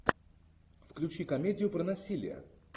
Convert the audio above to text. включи комедию про насилие